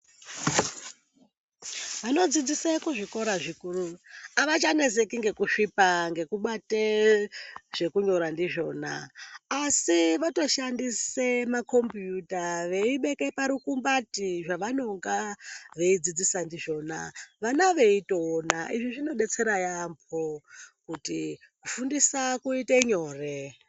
Vanodzidzise kuzvikora zvikuru avachaneseki ngekusvipa ngekubate zvekunyora ndizvona asi votoshandise makombiyuta veibeke parukumbati zvevanonga veidzidzisa ndizvona vana veitoona. Izvi zvinodetsera yaamho kuti kufundisa kuite nyore.